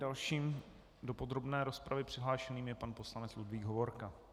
Dalším do podrobné rozpravy přihlášeným je pan poslanec Ludvík Hovorka.